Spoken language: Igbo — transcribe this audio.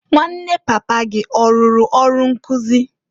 Nwanne papa gị ọrụrụ ọrụ nkụzị?